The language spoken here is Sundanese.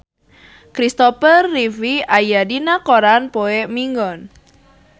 Christopher Reeve aya dina koran poe Minggon